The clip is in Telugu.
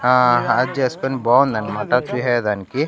ఆ హాక్ చేసుకుని బావుందన్నమాట చూసేదానికి.